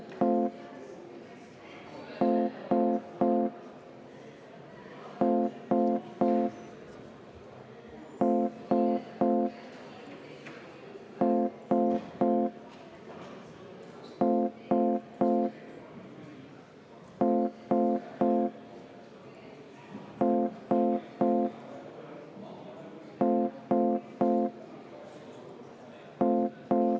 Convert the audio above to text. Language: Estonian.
Eeskätt keskklass – needsamad õpetajad, päästjad, politseinikud – hakkab üle 100 euro kuus rohkem raha saama.